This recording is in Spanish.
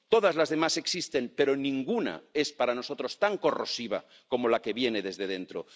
Todas las demás existen, pero ninguna es para nosotros tan corrosiva como la que viene desde dentro.